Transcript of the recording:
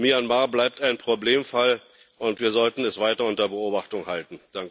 Myanmar bleibt ein Problemfall, und wir sollten es weiter unter Beobachtung halten.